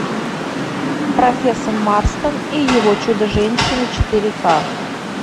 профессор марстон и его чудо женщины четыре ка